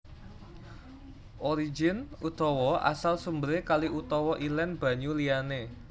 Origin utawa asal sumberé kali utawa ilén banyu liyané